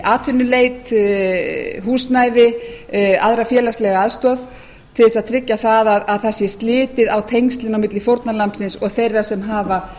atvinnuleit húsnæði aðra félagslega aðstoð til að tryggja að það sé litið á tengslin milli fórnarlambsins og þeirra sem hafa